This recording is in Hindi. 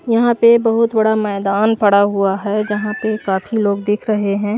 यहां पे बहुत बड़ा मैदान पड़ा हुआ है जहां पे काफी लोग दिख रहे हैं।